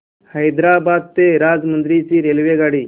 हैदराबाद ते राजमुंद्री ची रेल्वेगाडी